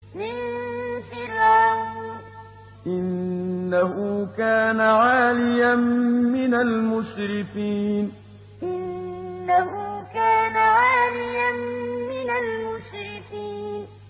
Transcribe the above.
مِن فِرْعَوْنَ ۚ إِنَّهُ كَانَ عَالِيًا مِّنَ الْمُسْرِفِينَ مِن فِرْعَوْنَ ۚ إِنَّهُ كَانَ عَالِيًا مِّنَ الْمُسْرِفِينَ